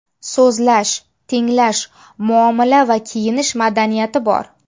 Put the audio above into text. So‘zlash, tinglash, muomala va kiyinish madaniyati bor.